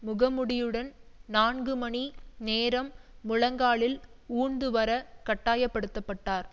முகமூடியுடன் நான்குமணி நேரம் முழங்காலில் ஊர்ந்துவர கட்டாய படுத்த பட்டார்